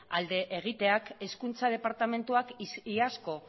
alde egiteak hezkuntza departamentuak iazko